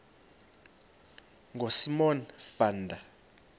ngosimon van der